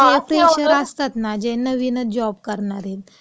म्हणजे जे फ्रेशर असतात ना, म्हणजे जे नवीनच जॉब करणारे..